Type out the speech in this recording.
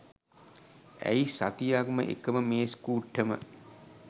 ඇයි සතියක්ම එකම මේස් කුට්ටම